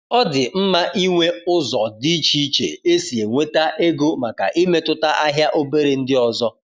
Ọ dị mma ịnwe ụzọ dị iche iche esi enweta ego màkà imetụta ahịa obere ndị ọzọ